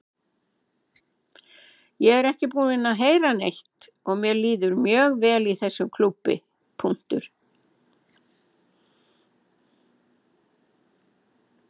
Ég er ekki búinn að heyra neitt og mér líður mjög vel í þessum klúbbi.